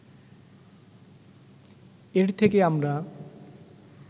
এর থেকে আমরা